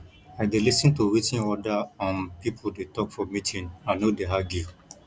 i dey lis ten to wetin oda um pipo dey tok for meeting i no dey argue